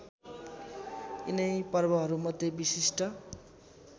यिनै पर्वहरूमध्ये विशिष्ट